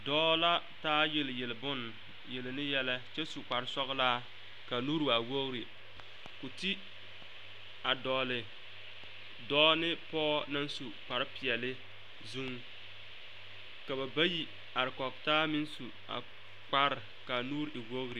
Dɔɔ la taa yelyel bonne yelle ne yɛlɛ kyɛ su kparesɔglaa ka a nuure waa wogre ka o ti a dɔgle dɔɔ ne pɔge naŋ su kparepeɛlle zuŋ ka ba bayi are kɔge taa meŋ su kpare ka a nuure e wogre.